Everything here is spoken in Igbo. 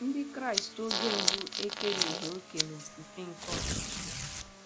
Ndị Kraịst oge mbụ ekereghị òkè nofufe nke Ọchịchị.